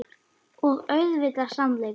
Og auðvitað sannleikurinn.